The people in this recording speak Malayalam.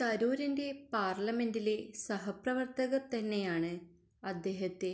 തരൂരിന്റെ പാര്ലമെന്റിലെ സഹപ്രവര്ത്തകര് തന്നെയാണ് അദ്ദേഹത്തെ